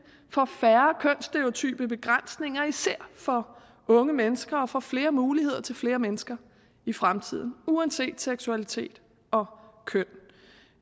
for færre kønsstereotype begrænsninger især for unge mennesker og for flere muligheder til flere mennesker i fremtiden uanset seksualitet og køn